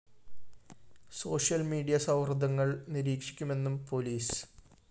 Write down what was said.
social media സൗഹൃദങ്ങള്‍ നിരീക്ഷിക്കുമെന്നും police